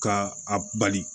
Ka a bali